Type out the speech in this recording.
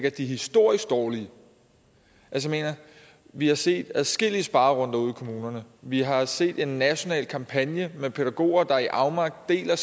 at de er historisk dårlige altså vi har set adskillige sparerunder ude i kommunerne vi har set en national kampagne med pædagoger der i afmagt deler